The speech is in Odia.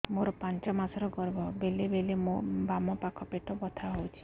ମୋର ପାଞ୍ଚ ମାସ ର ଗର୍ଭ ବେଳେ ବେଳେ ମୋ ବାମ ପାଖ ପେଟ ବଥା ହଉଛି